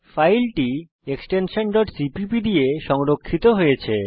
ফাইলটি extension cpp দিয়ে সংরক্ষিত হয়েছে